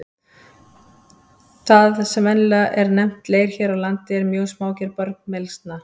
Það sem venjulega er nefnt leir hér á landi er mjög smágerð bergmylsna.